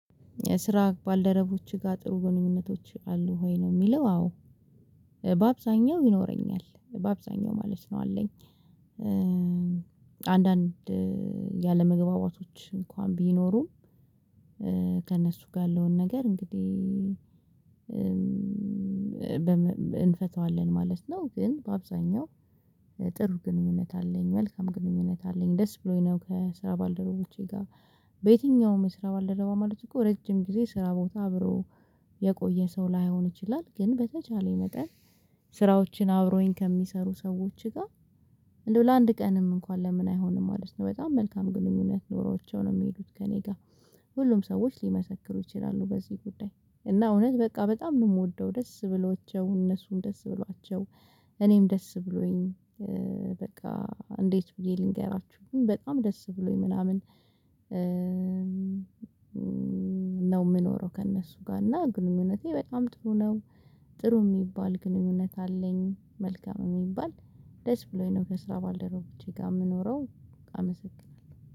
ስራ ባልደረቦችህ ጋር ጥሩ ግንኙነቶች አሉህ ወይ ነው የሚለው? አዎ በአብዛኛው ይኖረኛል በአብዛኛው ማለት ነው አለኝ። አንዳንድ ያለመግባባቶች እንኳን ቢኖሩም ከእነሱ ጋ ያለውን ነገር እንግዲህ እንፈታዋለን ማለት ነው። ግን በአብዛኛው ጥሩ ግንኙነት አለኝ መልካም ግንኙነት አለኝ ደስ ብሎኝ ነው። ከስራ ባልደረቦቼ ጋር በየትኛውም የስራ ባልደረባ ማለት እኮ ረጅም ጊዜ ስራ ቦታ አብሮ የቆየ ሰው ላይሆን ይችላል። ግን በተቻለኝ መጠን ስራዎችን አብሮኝ ከሚሰሩ ሰዎች ጋር እንደው ለአንድ ቀንም እንኳን ለምን አይሆንም ማለት ነው። በጣም መልካም ግንኙነት ኖሮዋቸውን ነው የሚሄዱት ከእኔ ጋር ሁሉም ሰዎች ሊመሰክሩ ይችላሉ። በዚህ ጉዳይ እና እውነት በቃ በጣም ነው የምወደው ደስ ብሏቸው እነሱም ደስ ብሏቸው እኔም ደስ ብሎኝ በቃ እንዴት ብዬ ልንገራችሁ ግን በጣም ደስ ብሎኝ ምናምን ነው የምኖረው። ከእነሱ ጋር እና ግንኙነቴ በጣም ጥሩ ነው። ጥሩ የሚባል ግንኙነት አለኝ መልካም የሚባል ደስ ብሎኝ ነው። ከስራ ባልደረቦቼጋ የምኖረው። አመሰግናለሁ